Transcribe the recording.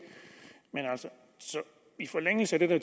men i forlængelse af det